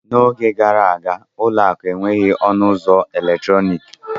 N'oge gara aga, ụlọ akụ enweghị ọnụ ụzọ eletrọnịkị.